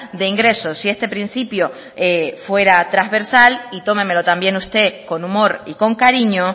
de ingresos si este principio fuera transversal y tómemelo también usted con humor y con cariño